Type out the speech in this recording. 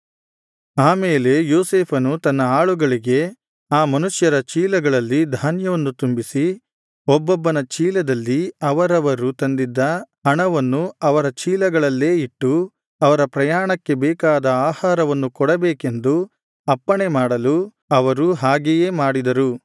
ಆ ಮೇಲೆ ಯೋಸೇಫನು ತನ್ನ ಆಳುಗಳಿಗೆ ಆ ಮನುಷ್ಯರ ಚೀಲಗಳಲ್ಲಿ ಧಾನ್ಯವನ್ನು ತುಂಬಿಸಿ ಒಬ್ಬೊಬ್ಬನ ಚೀಲದಲ್ಲಿ ಅವರವರು ತಂದಿದ್ದ ಹಣವನ್ನು ಅವರ ಚೀಲಗಳಲ್ಲೇ ಇಟ್ಟು ಅವರ ಪ್ರಯಾಣಕ್ಕೆ ಬೇಕಾದ ಆಹಾರವನ್ನು ಕೊಡಬೇಕೆಂದು ಅಪ್ಪಣೆ ಮಾಡಲು ಅವರು ಹಾಗೆಯೇ ಮಾಡಿದರು